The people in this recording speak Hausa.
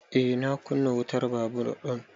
Eh na kunna wutan babur ɗin